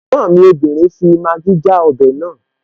Ẹ̀gbọ́n mi obìnrin fi Maggi já ọbẹ̀ naa